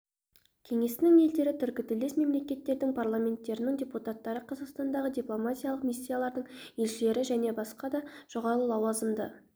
кеңесінің елдері түркітілдес мемлекеттердің парламенттерінің депутаттары қазақстандағы дипломатиялық миссиялардың елшілері және басқа да жоғары лауазымды